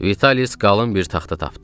Vitalis qalın bir taxta tapdı.